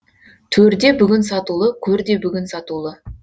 төр де бүгін сатулы көр де бүгін сатулы